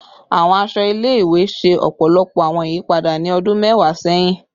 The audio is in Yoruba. Awọn aṣọ ile-iwe ṣe ọpọlọpọ awọn iyipada ni ọdun mẹwa sẹhin